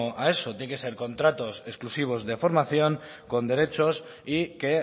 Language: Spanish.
a eso tiene que ser contratos exclusivos de formación con derechos y que